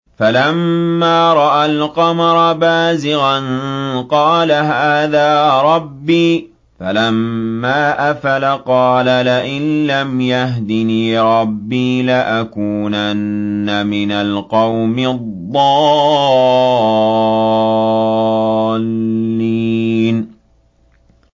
فَلَمَّا رَأَى الْقَمَرَ بَازِغًا قَالَ هَٰذَا رَبِّي ۖ فَلَمَّا أَفَلَ قَالَ لَئِن لَّمْ يَهْدِنِي رَبِّي لَأَكُونَنَّ مِنَ الْقَوْمِ الضَّالِّينَ